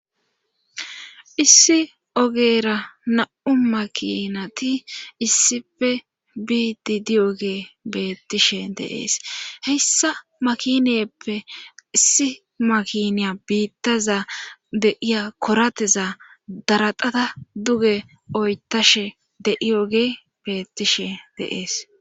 issi ogeera na7u makinati issife biidi diyogee beettishe deees hessa makiniyeppe issi makiniya biittaza deiya korateza daraxata duge oytashe deiyogee beettishe deees